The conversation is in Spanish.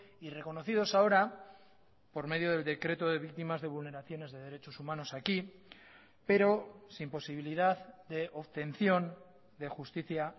y reconocidos ahora por medio del decreto de víctimas de vulneraciones de derechos humanos aquí pero sin posibilidad de obtención de justicia